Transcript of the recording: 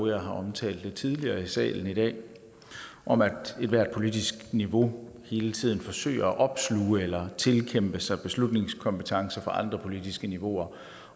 jeg har omtalt lidt tidligere i salen i dag om at ethvert politisk niveau hele tiden forsøger at opsluge eller tilkæmpe sig beslutningskompetencer for andre politiske niveauer